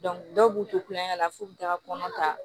dɔw b'u to kulonkɛ la f'u bɛ taa kɔnɔ ta